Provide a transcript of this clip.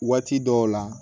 Waati dɔw la